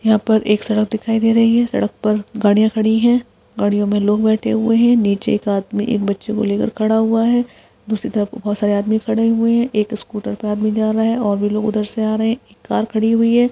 यहाँ पर एक सड़क दिखाई दे रही है सड़क पर गाड़िया खड़ी है गाड़ियो मे लोग बैठे हुए है नीचे एक आदमी एक बच्चे को लेकर खड़ा है दूसरी तरफ बहोत से लोग खड़े हुए है एक स्कूटर पे एक आदमी जा रहा और भी लोग उधर से आ रहे है एक कार खड़ी हुई है।